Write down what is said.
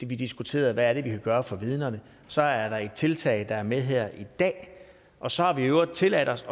vi diskuterede hvad vi gøre for vidnerne så er der et tiltag der er med her i dag og så har vi i øvrigt tilladt os